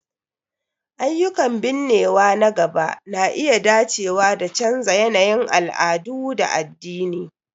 Ayyukan binnewa na gaba na iya dacewa da canza yanayin al'adu da addini..